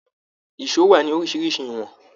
Èsó wà ní oríṣiríṣi ìwọ̀n.